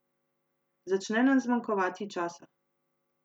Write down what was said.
Začne nam zmanjkovati časa.